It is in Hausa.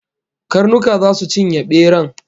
Karnuka zasu cinye beran